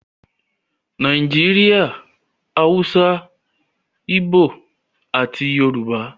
Nàìjíríà - Hausa, Ibo ati Yorùbá